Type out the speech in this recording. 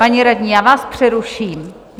Paní radní, já vás přeruším.